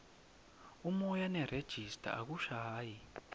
umoya nerejista akushayi